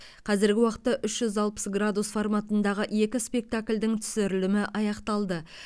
қазіргі уақытта үш жүз алпыс градус форматындағы екі спектакльдің түсірілімі аяқталды